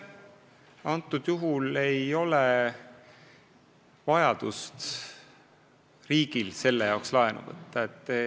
Konkreetsel juhul ei ole riigil vajadust selle jaoks laenu võtta.